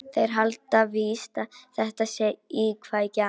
Þeir halda víst að þetta sé íkveikja.